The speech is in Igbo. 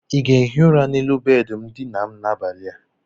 Ị ga-ehi ụra n'elu bedị ndina m n'abalị a?